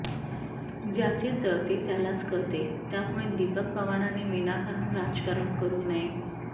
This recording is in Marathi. ज्याचे जळते त्यालाच कळते त्यामुळे दिपक पवारांनी विनाकारण राजकारण करू नये